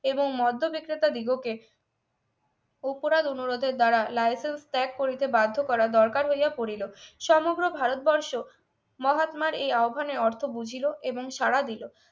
এবং মদ্য বিক্রেতা দিগকে অপরাধ অনুরোধ এর দ্বারা licence ত্যাগ করিতে বাধ্য করা দরকার হইয়া পড়িল সমগ্র ভারতবর্ষ মহাত্মা এই আহবানের অর্থ বুঝিলো এবং সাড়া দিল